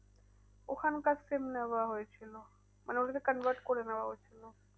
ওখানকার SIM নেওয়া হয়েছিল। মানে ওটাকে convert করে নেওয়া হয়েছিল।